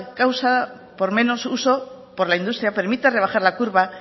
causa por menos uso por la industria permite rebajar la curva